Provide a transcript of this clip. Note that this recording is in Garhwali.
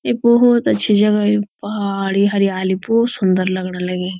यु बोहोत अच्छी जगह यु पहाड़ी हरीयाली भोत सुन्दर लगणा लगीं।